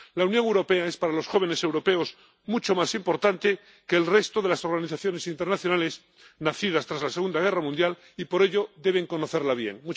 La Unión Europea es para los jóvenes europeos mucho más importante que el resto de las organizaciones internacionales nacidas tras la Segunda Guerra Mundial y, por ello, deben conocerla bien.